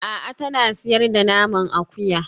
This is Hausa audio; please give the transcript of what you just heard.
A'a tana sayar da naman akuya